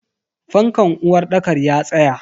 Fankan uwarɗakar ya tsaya.